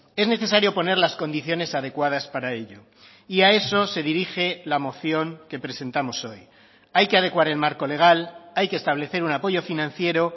es necesario poner las condiciones adecuadas para ello y a eso se dirige la moción que presentamos hoy hay que adecuar el marco legal hay que establecer un apoyo financiero